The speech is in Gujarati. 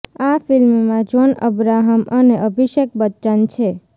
આ ફિલ્મમાં જ્હોન અબ્રાહમ અને અભિષેક બચ્ચન છે